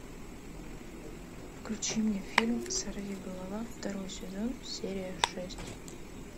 включи мне фильм сорвиголова второй сезон серия шесть